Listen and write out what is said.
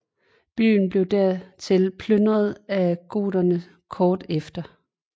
Byen blev dertil plyndret af goterne kort tid efter